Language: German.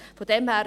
Von daher: